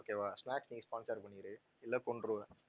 okay வா snacks நீ sponsor பண்ணிரு இல்ல கொன்றுவேன்